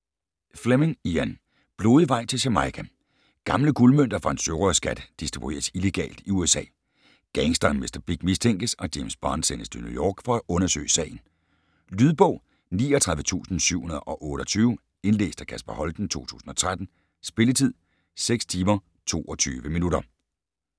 Fleming, Ian: Blodig vej til Jamaica Gamle guldmønter fra en sørøverskat distribueres illegalt i USA. Gangsteren Mr. Big mistænkes, og James Bond sendes til New York for at undersøge sagen. Lydbog 39728 Indlæst af Kasper Holten, 2013. Spilletid: 6 timer, 22 minutter.